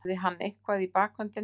Hafði hann eitthvað í bakhöndinni?